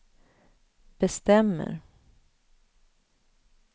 bestämmer